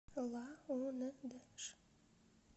лаундж